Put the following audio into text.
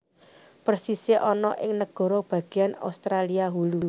Persisé ana ing nagara bagéan Austria Hulu